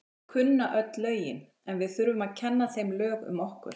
Þau kunna öll lögin en við þurfum að kenna þeim lög um okkur.